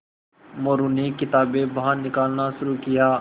मोरू ने किताबें बाहर निकालना शुरू किया